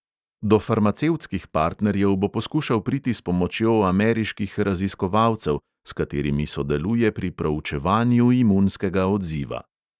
Do farmacevtskih partnerjev bo poskušal priti s pomočjo ameriških raziskovalcev, s katerimi sodeluje pri proučevanju imunskega odziva.